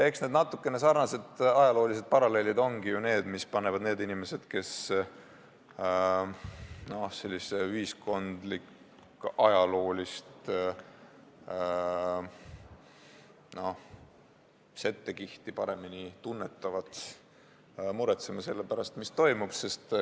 Eks need natukene sarnased ajaloolised paralleelid ongi ju need, mis panevad inimesed, kes ühiskondlikku-ajaloolist settekihti paremini tunnetavad, muretsema selle pärast, mis toimub.